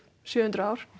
sjö hundruð ár